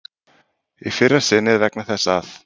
Í fyrra sinnið vegna þess að